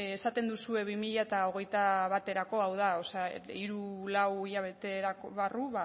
esaten duzue bi mila hogeita baterako o sea hiru lau hilabete barru